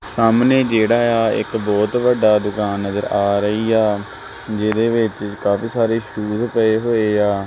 ਸਾਹਮਣੇ ਜਿਹੜਾ ਏ ਆ ਇੱਕ ਬਹੁਤ ਵੱਡਾ ਦੁਕਾਨ ਨਜ਼ਰ ਆ ਰਹੀ ਆ ਜਿਹਦੇ ਵਿੱਚ ਕਾਫੀ ਸਾਰੇ ਸ਼ੂਜ ਪਏ ਹੋਏ ਆ।